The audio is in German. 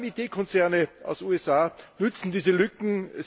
Vor allem IT Konzerne aus USA nützen diese Lücken.